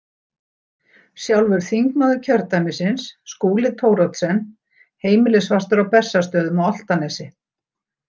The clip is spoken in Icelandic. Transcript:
Sjálfur þingmaður kjördæmisins, Skúli Thoroddsen, heimilisfastur á Bessastöðum á Álftanesi.